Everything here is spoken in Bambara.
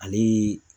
Ale